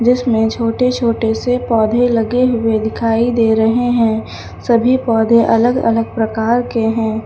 इसमें छोटे छोटे से पौधे लगे हुए दिखाई दे रहे हैं सभी पौधे अलग अलग प्रकार के हैं।